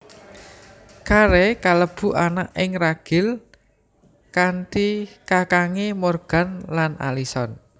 Carey kalebu anak ing ragil kanthi kakange Morgan lan Alison